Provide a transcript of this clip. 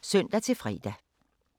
DR P3